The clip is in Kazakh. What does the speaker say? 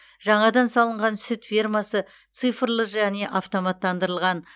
жаңадан салынған сүт фермасы цифрлы және автоматтандырылған